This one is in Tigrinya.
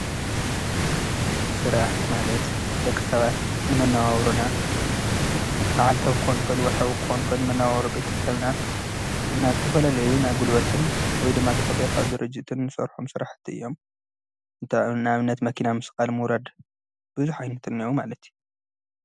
ሥራሕ ማለት ደቂ ሰባት ንመነዋውሮና መዓል ክከውን ይክእል ወርሓዊ ክከውን ይክእል ቤተሰብና ኢልና ልተፈላለዩ ናጕልወትን ወይ ድማቲ ቝጺል ኻብ ድርጅትን ሠርሖም ሠራሕቲ እዮም እንተኣብነት መኪና ምስ ቓል ምውረድ ብዙኅ ይንትነዑ ማለት እዩ።